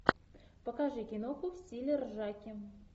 покажи киноху в стиле ржаки